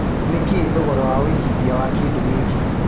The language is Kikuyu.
nĩ kĩĩ thogora wa wĩigĩthĩa wa kĩndũ gĩkĩ